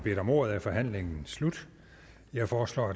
bedt om ordet er forhandlingen sluttet jeg foreslår